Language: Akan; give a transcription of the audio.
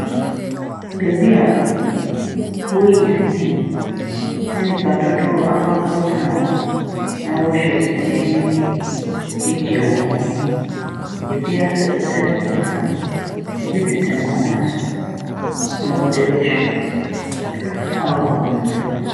Baabi a wɔreyi sini, na nnipa dodoɔ akɔ akɔtena hɔ na wɔrehwɛ sini no bi de regye wɔn ani. Ebi asɛ kɛtɛ deda fam, ebi tete nkonnwa so na wɔde rehwɛ wɔ abɔnten.